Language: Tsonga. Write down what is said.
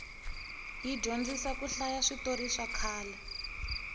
yi dyondzisa ku hlaya switorhi swakhale